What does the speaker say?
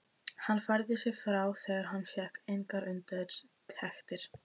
Hann færði sig frá þegar hann fékk engar undirtektir.